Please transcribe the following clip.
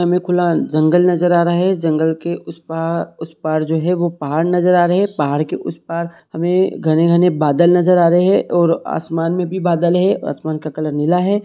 हमे खुला जंगल नजर आ रहा है जंगल के उस पार उस पार जो है वो पहाड़ नजर आ रहे है पहाड़ के उस पार हमे घने-घने बादल नजर आ रहे है और आसमान में भी बादल है आसमान का कलर नीला है।